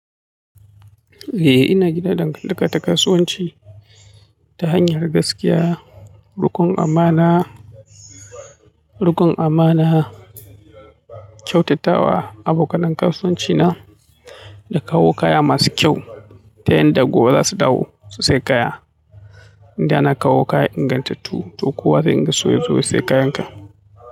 Eh ina gina dangataka ta kasuwanci ta hanyar gaskiya, rikon amana, rikon amana, kyautatawa abokan nan kasuwanci na da kawo kaya masu kyau ta hanyar da gobe za su dawo su saya kaya. Inda ana kawo kaya ingantattu to kowa zai dinga so yazo ya sayi kayan ka.